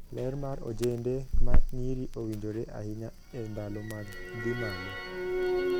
Ler mar ojende ma nyiri owinjore ahinya e ndalo mag dhii malo.